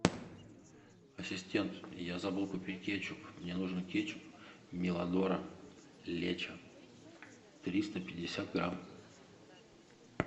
ассистент я забыл купить кетчуп мне нужен кетчуп миладора лечо триста пятьдесят грамм